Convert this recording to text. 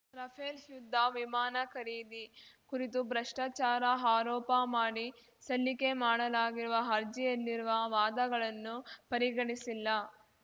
Rafale ಯುದ್ಧ ವಿಮಾನ ಖರೀದಿ ಕುರಿತು ಭ್ರಷ್ಟಾಚಾರ ಆರೋಪ ಮಾಡಿ ಸಲ್ಲಿಕೆ ಮಾಡಲಾಗಿರುವ ಅರ್ಜಿಯಲ್ಲಿರುವ ವಾದಗಳನ್ನು ಪರಿಗಣಿಸಿಲ್ಲ